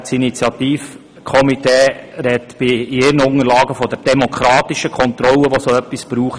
Das Initiativkomitee spricht in seinen Unterlagen von der «demokratischen Kontrolle», die hier nötig sei.